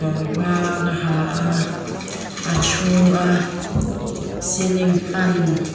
kawr var a ha a a thu a ceiling fan --